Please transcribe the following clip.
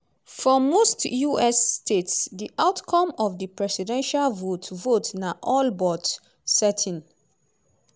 for most us states di outcome of di presidential vote vote na all but certain.